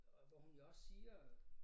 Og hvor hun jo også siger øh